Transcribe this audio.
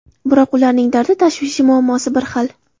Biroq ularning dardi, tashvishi, muammosi bir xil.